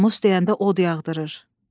Namus deyəndə od yağdırır.